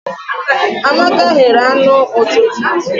Amaka ghere anụ ụtụtụ.